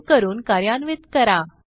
save करून कार्यान्वित करा